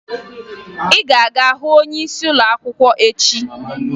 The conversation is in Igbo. Ị ga-aga hụ onyeisi ụlọakwụkwọ echi!